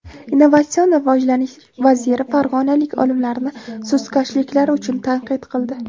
Innovatsion rivojlanish vaziri farg‘onalik olimlarni sustkashliklari uchun tanqid qildi.